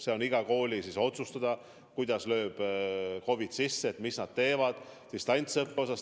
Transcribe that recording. See on iga kooli otsustada, et kui lööb COVID sisse, siis mis nad teevad distantsõppe osas.